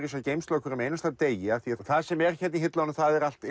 þessa geymslu á hverjum degi það sem er hér í hillunum er allt